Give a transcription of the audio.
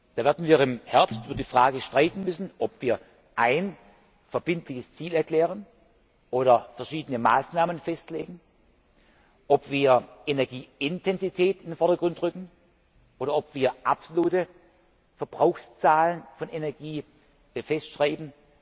Da werden wir im Herbst über die Frage streiten müssen, ob wir ein verbindliches Ziel erklären oder verschiedene Maßnahmen festlegen, ob wir Energieintensität in den Vordergrund rücken, oder ob wir absolute Verbrauchszahlen von Energie festschreiben.